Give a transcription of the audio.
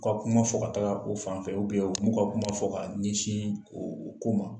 U ka kuma fɔ ka taga o fan fɛ bɛ u m'u ka kuma fɔ ka ɲɛsin o ko ma